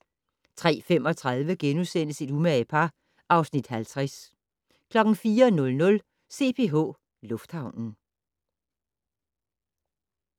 03:35: Et umage par (Afs. 50)* 04:00: CPH Lufthavnen